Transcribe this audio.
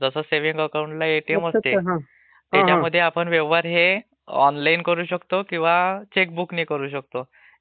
जसं सेव्हींग अकाऊंटला एटीएम असतं. तस ह्याला एटीएम नसतं ..Voice Over lapiing त्याच्यामधे व्यवहार हे ऑनलाईनने करू शकतो किंवा चेक ने करू शकतो.